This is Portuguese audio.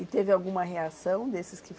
E teve alguma reação desses que